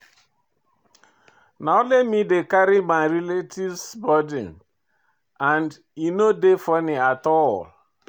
Na only me dey carry my relatives burden and e no dey funny at all.